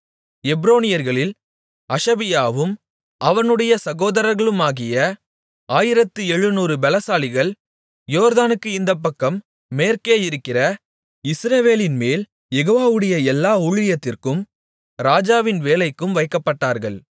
எப்ரோனியர்களில் அஷபியாவும் அவனுடைய சகோதரர்களுமாகிய ஆயிரத்து எழுநூறு பெலசாலிகள் யோர்தானுக்கு இந்தப்பக்கம் மேற்கே இருக்கிற இஸ்ரவேலின்மேல் யெகோவாவுடைய எல்லா ஊழியத்திற்கும் ராஜாவின் வேலைக்கும் வைக்கப்பட்டார்கள்